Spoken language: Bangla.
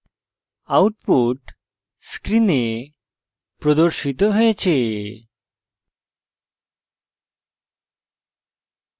output screen প্রদর্শিত হয়েছে